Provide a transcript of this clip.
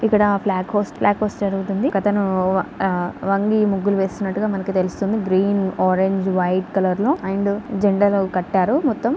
ఇక్కడ flag hoist flag hoist రుగుతూంది ఒకతను వొంగి ముగ్గులు వేస్తున్నట్టుగా మనకి తెలుస్తుంది. ఆరంజ్ కలర్ లో జెండాలను కట్టారు మోతం --